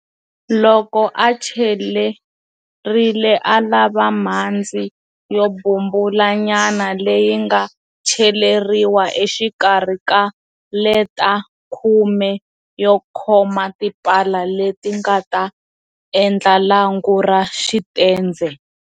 Loko a celerile a lava mhandzi yo bumbula nyana leyi nga celeriwa exikarhi ka leta khume yo khoma tipala leti nga ta endla lwangu ra xitendze.